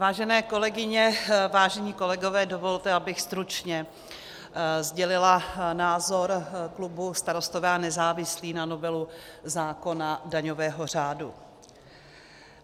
Vážené kolegyně, vážení kolegové, dovolte, abych stručně sdělila názor klubu Starostové a nezávislí na novelu zákona daňového řádu.